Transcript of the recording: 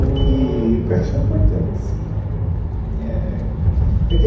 E que que eu acho que são importantes eh é que eu